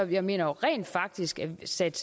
jeg mener rent faktisk sat